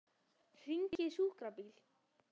Hringið í sjúkrabíl.